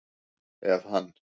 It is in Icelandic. Ef hann